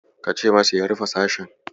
Kace masa ya rufe sashen.